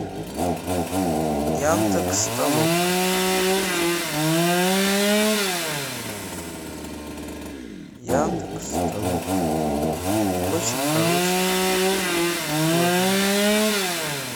яндекс толока яндекс толока очень хорошее приложение